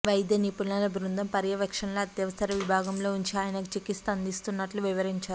వైద్య నిపుణుల బృందం పర్యవేక్షణలో అత్యవసర విభాగంలో ఉంచి ఆయనకు చికిత్స అందిస్తున్నట్లు వివరించారు